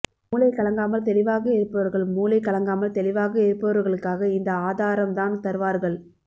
மூளை கலங்காமல் தெளிவாக இருப்பவர்கள் மூளை கலங்காமல் தெளிவாக இருப்பவர்களுக்காக இந்த ஆதாரம் தான் தருவார்கள்